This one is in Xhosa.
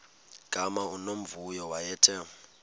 gama unomvuyo wayethe